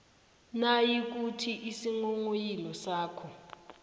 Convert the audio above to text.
nayikuthi isinghonghoyilo sakho